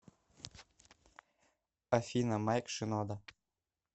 афина майк шинода